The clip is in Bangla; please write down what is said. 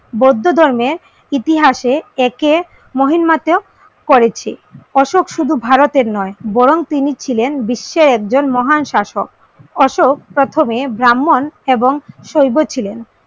বৌদ্ধ ধর্মের ইতিহাসে একে মহিমাতেয়া করেছে। অশোক শুধু ভারতের নয় বরং তিনি ছিলেন বিশ্বের একজন মহাশাসক। অশোক প্রথমে ব্রাহ্মণ এবং শৈব ছিলেন,